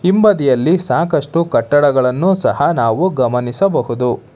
ಹಿಂಬದಿಯಲ್ಲಿ ಸಾಕಷ್ಟು ಕಟ್ಟಡಗಳನ್ನು ಸಹ ನಾವು ಗಮನಿಸಬಹುದು.